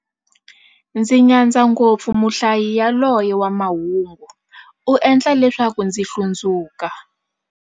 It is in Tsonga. Ndzi nyadza ngopfu muhlayi yaloye wa mahungu, u endla leswaku ndzi hlundzuka.